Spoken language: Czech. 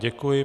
Děkuji.